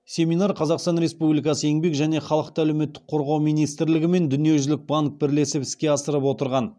семинар қазақстан республикасы еңбек және халықты әлеуметтік қорғау министрлігі мен дүниежүзілік банк бірлесіп іске асырып отырған